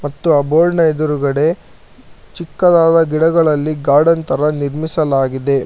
ಮತ್ತು ಆ ಬೋರ್ಡ್ ನ ಎದುರುಗಡೆ ಚಿಕ್ಕದಾದ ಗಿಡಗಳಲ್ಲಿ ಗಾರ್ಡನ್ ತರ ನಿರ್ಮಿಸಲಾಗಿದೆ ಮ --